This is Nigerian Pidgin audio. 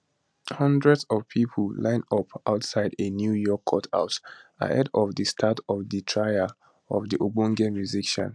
hundreds of pipo line up outside a new york courthouse ahead of di start of di trial of di ogbonge musician